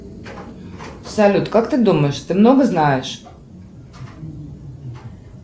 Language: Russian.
салют как ты думаешь ты много знаешь